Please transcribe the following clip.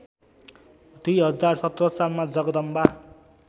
२०१७ सालमा जगदम्बा